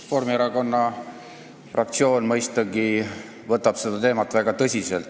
Reformierakonna fraktsioon võtab, mõistagi, seda teemat väga tõsiselt.